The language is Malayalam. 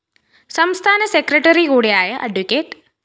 സംസ്ഥാന സെക്രട്ടറി കൂടിയായ അഡ്വ